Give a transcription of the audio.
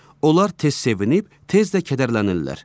Onlar tez sevib, tez də kədərlənirlər.